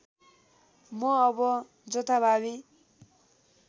म अब जथाभावी